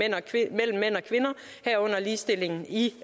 kvinder herunder ligestilling i